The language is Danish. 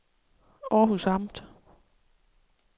Århus Amt